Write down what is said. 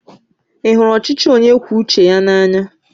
Ị hụrụ ọchịchị onye kwue uche ya n'anya?